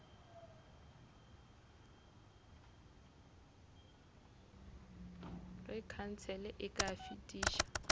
ge khansele e ka fetiša